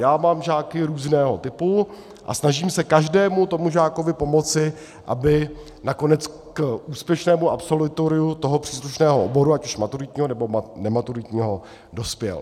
Já mám žáky různého typu a snažím se každému tomu žákovi pomoci, aby nakonec k úspěšnému absolutoriu toho příslušného oboru, ať už maturitního, nebo nematuritního, dospěl.